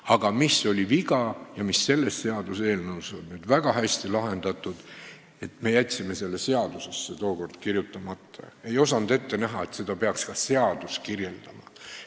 Aga siis oli see viga – selles seaduseelnõus on see nüüd väga hästi lahendatud –, et me jätsime selle seadusesse tookord kirjutamata, me ei osanud ette näha, et seda peaks ka seadus kirjeldama.